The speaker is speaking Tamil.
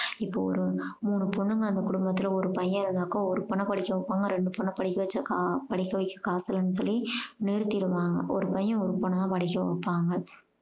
இப்போ ஒரு மூணு பொண்ணுங்க அந்த கொடும்பத்துல ஒரு பையன் இருந்தாக்கா ஒரு பொண்ண படிக்க வெப்பாங்க இரண்டு பொண்ண படிக்க வச்சாக்கா படிக்க வைக்க காசு இல்லன்னு சொல்லி நிருத்திடுவாங்க. ஒரு பையன் ஒரு பொண்ண தான் படிக்க வப்பாங்க.